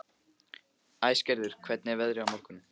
Æsgerður, hvernig er veðrið á morgun?